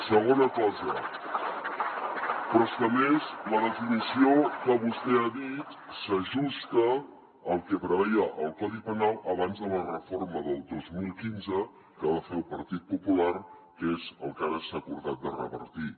segona cosa però és que a més la definició que vostè ha dit s’ajusta al que preveia el codi penal abans de la reforma del dos mil quinze que va fer el partit popular que és el que ara s’ha acordat de revertir